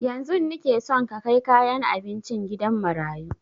Yanzun nike son ka kai kayan abincin gidan marayu